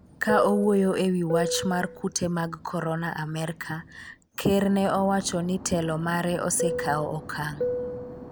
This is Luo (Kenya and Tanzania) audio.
ka owuoyo e wi wach mar kute mag korona amerka, ker ne owacho ni telo mare osekawo okang'